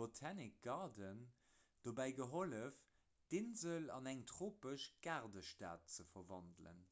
botanic garden dobäi gehollef d'insel an eng tropesch gaardestad ze verwandelen